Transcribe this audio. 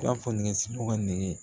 nɛgɛ siribugu ka nɛgɛ